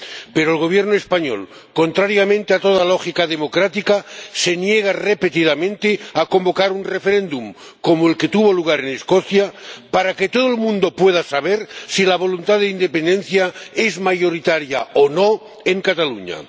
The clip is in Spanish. Pero el Gobierno español, contrariamente a toda lógica democrática, se niega repetidamente a convocar un referéndum, como el que tuvo lugar en Escocia, para que todo el mundo pueda saber si la voluntad de independencia es mayoritaria o no en Cataluña.